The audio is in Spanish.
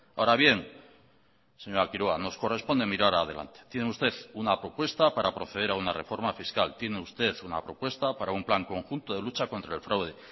ahora bien señora quiroga nos corresponde mirar adelante tiene usted una propuesta para proceder a una reforma fiscal tiene usted una propuesta para un plan conjunto de lucha contra el fraude